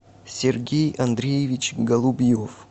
сергей андреевич голубьев